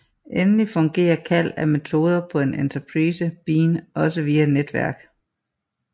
Endelig fungerer kald af metoder på en enterprise bean også via netværk